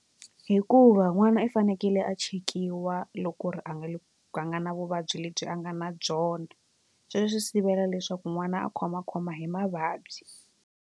Hikuva n'wana i fanekele a chekiwa loko ku ri a nga le ka a nga na vuvabyi lebyi a nga na byona sweswo swi sivela leswaku n'wana a khomakhoma hi mavabyi.